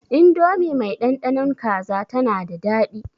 Indomi mai ɗanɗanon kaza tana da daɗi.